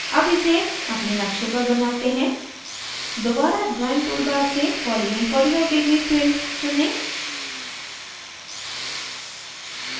अब इसे अपने नक़्शे पर बनाते हैं दोबारा drawing toolbar से polygon 45 degree filled चुनें